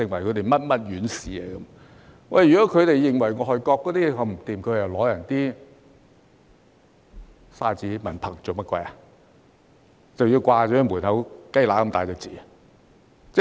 如果他們認為外國水準這麼差，為何要獲取外國的證書、文憑，更要掛在門口"雞乸咁大隻字"呢？